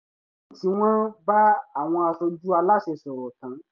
lẹ́yìn tí wọ́n bá àwọn aṣojú aláṣẹ sọ̀rọ̀ tán